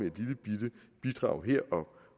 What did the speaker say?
et lillebitte bidrag her